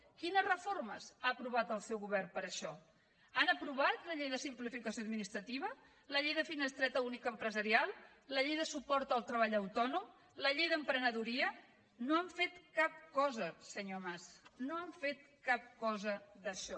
quines reformes ha aprovat el seu govern per a això han aprovat la llei de simplificació administrativa la llei de finestreta única empresarial la llei de suport al treball autònom la llei d’emprenedoria no han fet cap cosa senyor mas no han fet cap cosa d’això